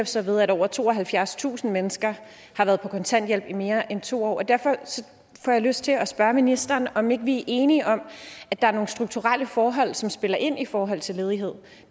sig ved at over tooghalvfjerdstusind mennesker har været på kontanthjælp i mere end to år og derfor får jeg lyst til at spørge ministeren om vi enige om at der er nogle strukturelle forhold som spiller ind i forhold til ledighed